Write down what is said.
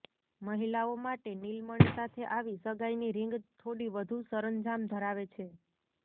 મહિલાઓ માટે નીલમણિ સાથે આવી સગાઈની રીંગ થોડી વધુ સરંજામ ધરાવે છે